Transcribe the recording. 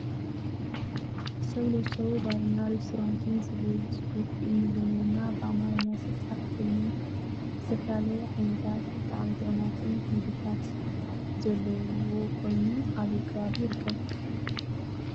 ሰው ለሰው ባርና ሬስቶራንት ዝብል ፅሑፍ ብኢንግልዘኛና ብኣማርኛ ዝተፅሓፈ ኮይኑ ዝተፈላለየ ዓይነታት ብጣዕሚ ጥዑማት ምግብታት ዘለዎ ኮይኑ ኣበይ ኣከባቢ ይርከብ?